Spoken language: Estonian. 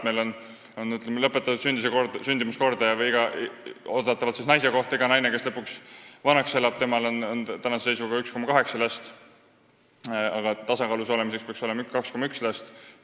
Meil on lõpetatud sündimuskordaja 1,8 last naise kohta: igal naisel, kes lõpuks vanaks elab, on praeguse seisuga 1,8 last, aga ühiskonna tasakaalus olemiseks peaks olema 2,1 last.